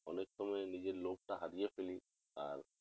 অনেক সময় নিজের লোভ টা হারিয়ে ফেলি আর